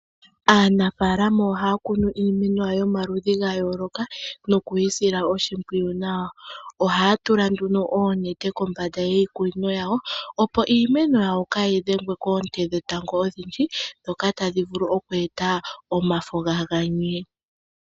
Aanafaalama ohaya kunu iimeno yawo yomaludhi gayooloka noku yi sila oshimpwiyu nawa. Ohaya tula nduno oonete kombanda yiikunino yawo opopo iimeno yawo kaayi dhengwe koonte dhetango odhindji ndhoka tadhi vulu oku eta omafo ga ganye.